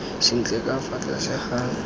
sentle ka fa tlase ga